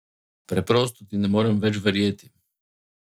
Preprosto ti ne morem več verjeti.